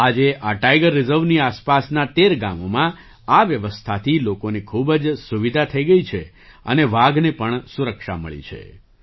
આજે આ ટાઇગર રિઝર્વની આસપાસનાં 1૩ ગામોમાં આ વ્યવસ્થાથી લોકોને ખૂબ જ સુવિધા થઈ ગઈ છે અને વાઘને પણ સુરક્ષા મળી છે